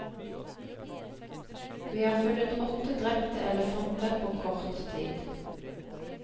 Vi har funnet åtte drepte elefanter på kort tid.